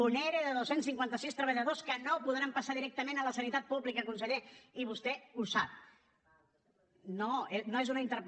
un ere de dos cents i cinquanta sis treballadors que no podran passar directament a la sanitat pública conseller i vostè ho sap